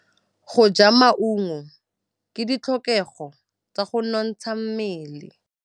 Go ja maungo ke ditlhokegô tsa go nontsha mmele.